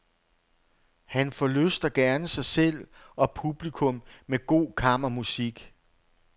Han forlyster gerne sig selv, og publikum, med god kammermusik.